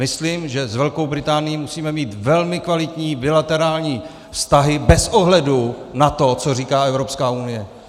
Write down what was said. Myslím, že s Velkou Británií musíme mít velmi kvalitní bilaterální vztahy bez ohledu na to, co říká Evropská unie.